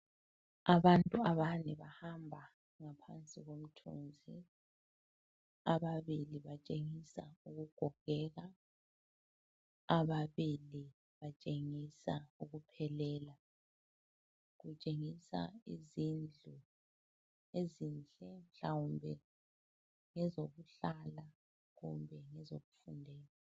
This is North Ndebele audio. Abantu abane bahamba ngaphansi komthuzi ababili batshengisa ukugogeka, ababili batshengisa ukuphelela. Kutshengisa izindlu ezinhle mhlawumbe ngezokuhlala kumbe ezokufundela.